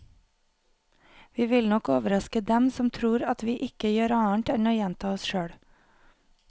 Vi vil nok overraske dem som tror at vi ikke gjør annet enn å gjenta oss selv.